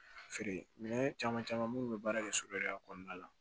Feere minɛn caman caman munnu bɛ baara kɛ so yɛrɛ kɔnɔna la